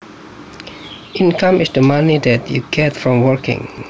Income is the money that you get from working